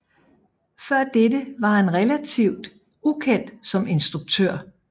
Før dette var han relativt ukendt som instruktør